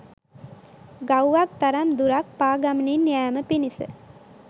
ගව්වක් තරම් දුරක් පා ගමනින් යෑම පිණිස